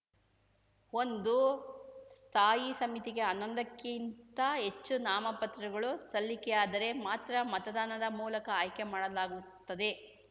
ಒಂದು ಸ್ಥಾಯಿ ಸಮಿತಿಗೆ ಹನ್ನೊಂದಕ್ಕಿಂತ ಹೆಚ್ಚು ನಾಮಪತ್ರಗಳು ಸಲ್ಲಿಕೆಯಾದರೆ ಮಾತ್ರ ಮತದಾನದ ಮೂಲಕ ಆಯ್ಕೆ ಮಾಡಲಾಗುತ್ತದೆ